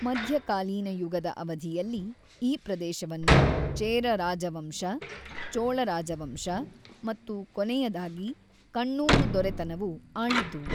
ಮಧ್ಯಕಾಲೀನ ಯುಗದ ಅವಧಿಯಲ್ಲಿ, ಈ ಪ್ರದೇಶವನ್ನು ಚೇರ ರಾಜವಂಶ, ಚೋಳ ರಾಜವಂಶ ಮತ್ತು ಕೊನೆಯದಾಗಿ, ಕಣ್ಣೂರು ದೊರೆತನವು ಆಳಿತು.